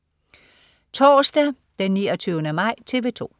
Torsdag den 29. maj - TV 2: